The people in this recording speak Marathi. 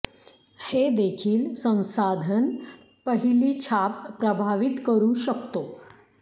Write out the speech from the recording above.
हे देखील संसाधन पहिली छाप प्रभावित करू शकतो